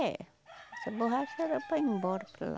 É. Essa borracha era para ir embora para lá.